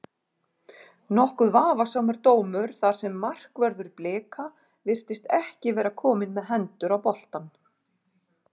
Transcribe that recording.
Nokkuð vafasamur dómur þar sem markvörður Blika virtist ekki vera komin með hendur á boltann.